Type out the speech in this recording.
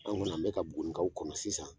An nana n be ka bugunikaw kɔnɔ sisan